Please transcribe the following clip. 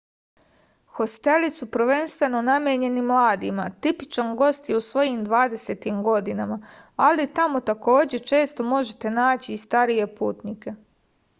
hosteli su prvenstveno namenjeni mladima tipičan gost je u svojim dvadesetim godinama ali tamo takođe često možete naći i starije putnike